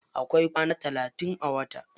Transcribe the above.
Akwai kwana talatin a wata.